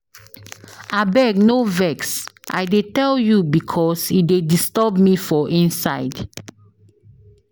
Abeg no vex, I dey tell you because e dey disturb me for inside.